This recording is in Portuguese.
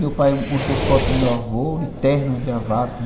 Meu pai mostrou foto do meu avô de terno e gravata.